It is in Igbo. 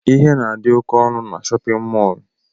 Ihe na adi oké ọnụ n'shóppin mol.